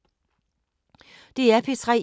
DR P3